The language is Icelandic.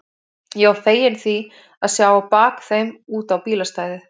Ég var feginn því að sjá á bak þeim út á bílastæðið.